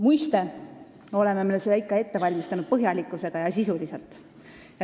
Muiste valmistasime seda ikka ette põhjalikult ja sisuliselt.